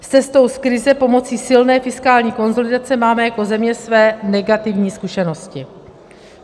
S cestou z krize pomocí silné fiskální konsolidace máme jako země své negativní zkušenosti.